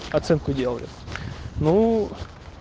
оценку делаю ну